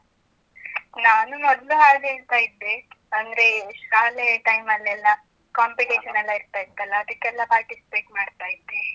ನಾನು ಮೊದ್ಲು ಹಾಡ್ ಹೇಳ್ತಾ ಇದ್ದೆ. ಅಂದ್ರೆ ಶಾಲೆ time ಅಲ್ಲೆಲ್ಲಾ competition ಹಾ ಹಾ. ಎಲ್ಲಾ ಇರ್ತಾ ಇತ್ತಲ್ಲ? ಅದಿಕ್ಕೆಲ್ಲಾ participate ಮಾಡ್ತಾ ಇದ್ದೆ.